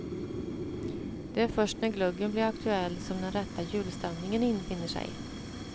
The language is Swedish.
Det är först när glöggen blir aktuell som den rätta julstämningen infinner sig.